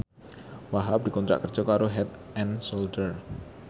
Wahhab dikontrak kerja karo Head and Shoulder